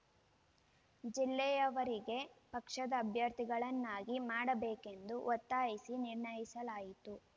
ಜಿಲ್ಲೆಯವರಿಗೆ ಪಕ್ಷದ ಅಭ್ಯರ್ಥಿಗಳನ್ನಾಗಿ ಮಾಡಬೇಕೆಂದು ಒತ್ತಾಯಿಸಿ ನಿರ್ಣಯಿಸಲಾಯಿತು